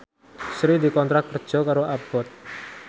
Sri dikontrak kerja karo Abboth